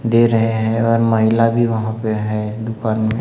दे रहे हैं और महिला भी वहां पे है दुकान में--